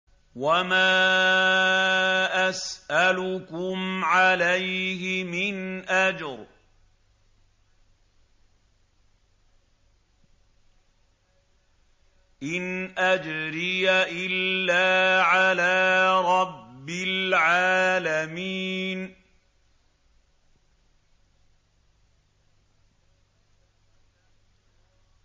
وَمَا أَسْأَلُكُمْ عَلَيْهِ مِنْ أَجْرٍ ۖ إِنْ أَجْرِيَ إِلَّا عَلَىٰ رَبِّ الْعَالَمِينَ